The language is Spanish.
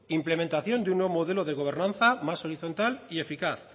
implementación de un nuevo modelo de gobernanza más horizontal y eficaz